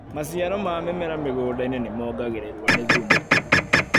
Maciaro ma mĩmera mĩgundainĩ nĩmongagĩrĩrwo nĩ thumu.